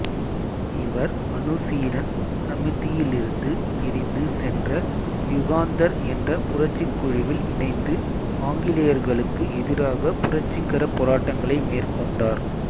இவர் அனுசீலன் சமிதியிலிருந்து பிரிந்து சென்ற யுகாந்தர் என்ற புரட்சிக் குழுவில் இணைந்து ஆங்கிலேயர்களுக்கு எதிராக புரட்சிகரப் போராட்டங்களை மேற்கொண்டார்